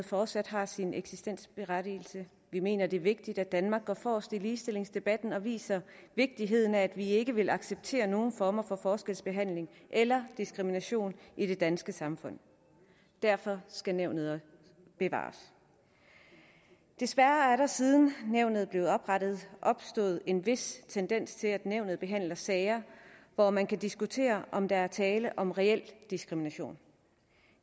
fortsat har sin eksistensberettigelse vi mener det er vigtigt at danmark går forrest i ligestillingsdebatten og viser vigtigheden af at vi ikke vil acceptere nogen former for forskelsbehandling eller diskrimination i det danske samfund derfor skal nævnet også bevares desværre er der siden nævnet blev oprettet opstået en vis tendens til at nævnet behandler sager hvor man kan diskutere om der er tale om reel diskrimination